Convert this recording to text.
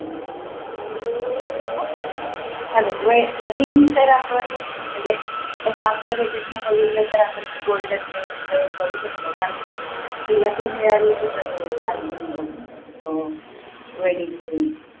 ring तर आपण म्हणजे कसा आपल्या budget ने बसला तर आपण golden ring try करू शकतो पण तिला ती मिळालेलीच असेल तिच्या husband कडून wedding ring